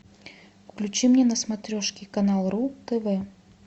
включи мне на смотрешке канал ру тв